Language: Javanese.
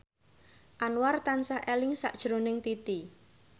Anwar tansah eling sakjroning Titi